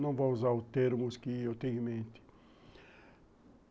Não vou usar os termos que eu tenho em mente.